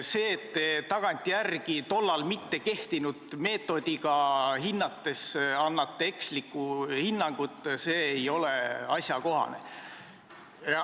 See, et te annate tagantjärele ja tol ajal mittekehtinud meetodit kasutades eksliku hinnangu, ei ole asjakohane.